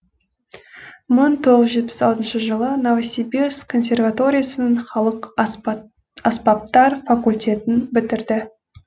мың тоғыз жүз жетпіс алтыншы жылы новосибирск консерваториясының халық аспаптар факультетін бітірді